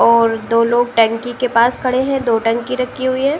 और दो लोग टंकी के पास खड़े हैं। दो टंकी रखी हुई हैं।